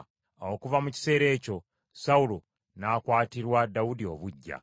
Awo okuva mu kiseera ekyo Sawulo n’akwatirwa Dawudi obuggya.